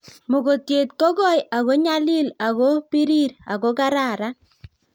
Mogotiet ko koi ako nyalil ak ko pirir ako karan